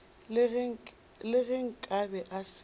le ge nkabe a se